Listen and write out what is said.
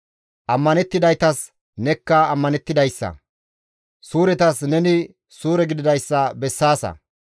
«Ammanettidaytas nekka ammanettidayssa, suuretas neni suure gididayssa bessaasa.